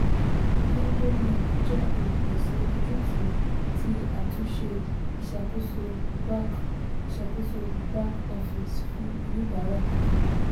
hedonmark jẹ́ olùpèsè ojútùú ti àtúnṣe ìṣàkóso back ìṣàkóso back office fún oníbàárà kékeré.